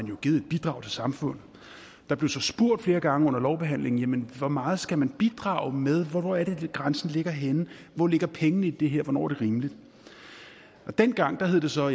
jo givet et bidrag til samfundet der blev så spurgt flere gange under lovbehandlingen hvor meget skal man bidrage med hvor er det grænsen ligger henne hvor ligger pengene i det her hvornår er det rimeligt dengang hed det så